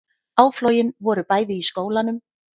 Áflogin voru bæði í skólanum